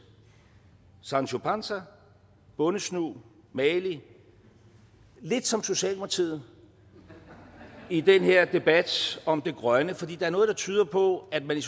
sancho panza bondesnu magelig lidt som socialdemokratiet i den her debat om det grønne for der er noget der tyder på at man i